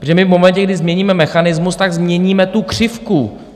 Protože my v momentě, kdy změníme mechanismus, tak změníme tu křivku.